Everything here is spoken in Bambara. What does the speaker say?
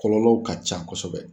Kɔlɔlɔw ka ca kosɛbɛ